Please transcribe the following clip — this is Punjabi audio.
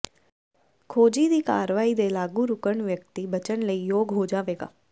ਖੋਜੀ ਦੀ ਕਾਰਵਾਈ ਦੇ ਲਾਗੂ ਰੁਕਣ ਵਿਅਕਤੀ ਬਚਣ ਲਈ ਯੋਗ ਹੋ ਜਾਵੇਗਾ